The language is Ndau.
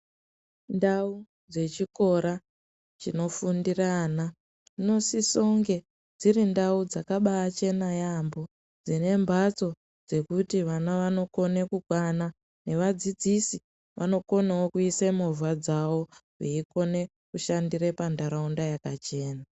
Ndau dzechikora chinofundira ana dzinosisonge dziri ndau dzakabachena yambo dzinembatso dzekuti vana vanokone kukwana nevadzidzisi vanokonawo kuisemovha dzavo veikone kushandire pandaraunda yakachena.